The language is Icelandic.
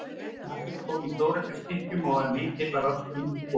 Maturinn kom í stóreflis stykkjum og var mikill að vöxtum og góður.